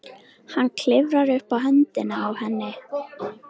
Hann klifrar upp á höndina á henni.